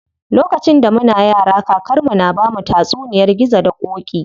Lokacin da muna yara, kakar mu na bamu tatsuniyar gizo da ƙoƙi.